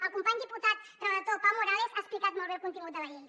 el company diputat relator pau morales ha explicat molt bé el contingut de la llei